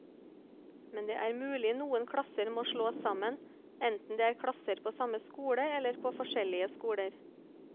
Men det er mulig noen klasser må slås sammen, enten det er klasser på samme skole eller på forskjellige skoler.